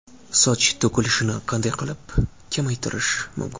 Soch to‘kilishini qanday qilib kamaytirish mumkin?